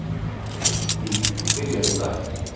Iðnþing byrjar í dag.